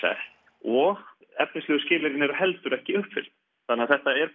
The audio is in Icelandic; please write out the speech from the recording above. og efnislegu skilyrðin eru heldur ekki uppfyllt þannig að þetta er